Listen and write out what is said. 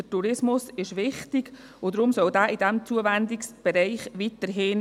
Der Tourismus ist wichtig, und deshalb soll er weiterhin in diesem Zuwendungsbereich sein.